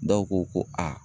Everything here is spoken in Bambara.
Dɔw ko ko a